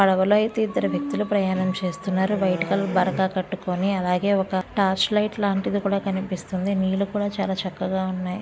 పడవలో ఐతే ఇద్దరు వ్యక్తులు ప్రయాణం చేస్తున్నారు వైట్ కలర్ బరక కట్టుకొని అలాగే ఒక టార్చ్ లైట్ లాంటిది కూడా కనిపిస్తుంది నీళ్ళు కూడా చాలా చక్కగా ఉన్నాయి.